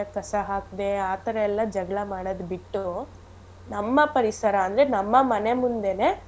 ಕಸ ಹಾಕ್ದೆ ಆಥರ ಎಲ್ಲ ಜಗಳ ಮಾಡದ್ ಬಿಟ್ಟು ನಮ್ಮ ಪರಿಸರ ಅಂದ್ರೆ ನಮ್ಮ ಮನೆ ಮುಂದೆನೆ.